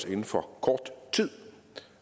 inden for kort tid